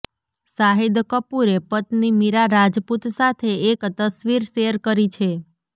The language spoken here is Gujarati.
શાહિદ કપૂરે પત્ની મીરા રાજપૂત સાથે એક તસવીર શેર કરી છે